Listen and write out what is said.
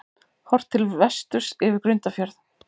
Horft til vesturs yfir Grundarfjörð.